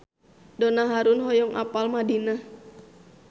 Donna Harun hoyong apal Madinah